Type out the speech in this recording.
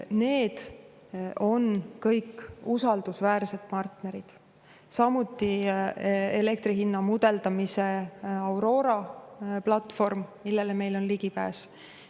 Samuti on elektri hinna mudeldamise Aurora platvorm, millele meil on ligipääs.